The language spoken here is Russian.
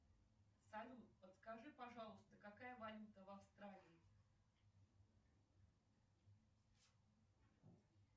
салют подскажи пожалуйста какая валюта в австралии